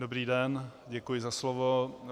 Dobrý den, děkuji za slovo.